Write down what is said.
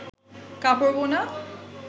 কাপড় বোনা